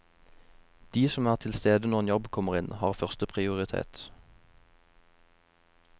De som er tilstede når en jobb kommer inn, har første prioritet.